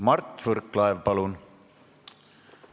Mart Võrklaev, palun!